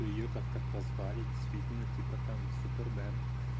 её как-то прозвали действительно типа там супермен